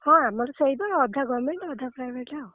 ହଁ ଆମର ସେଇବା ଅଧା government ଅଧା private